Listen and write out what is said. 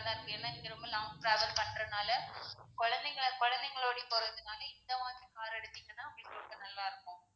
தான் இருக்கும் ஏன்னா நீங்க ரொம்ப long travel பண்றனால குழந்தைங்களை குழந்தைகளோட போறதுநால இந்த மாதிரி car எடுத்தீங்கன்னா உங்களுக்கு ரொம்ப நல்லா இருக்கும்.